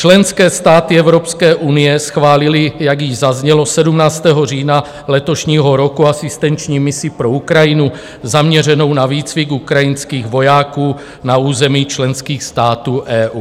Členské státy Evropské unie schválily, jak již zaznělo, 17. října letošního roku asistenční misi pro Ukrajinu zaměřenou na výcvik ukrajinských vojáků na území členských států EU.